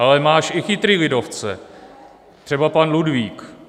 Ale máš i chytrý lidovce, třeba pan Ludvík.